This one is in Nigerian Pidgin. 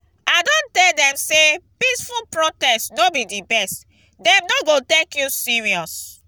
i don tell dem sey peaceful protest no be di best dem no go take you serious.